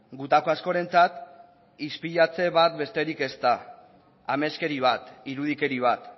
gutako askorentzat ispilatze bat besterik ez da ameskeri bat irudikeri bat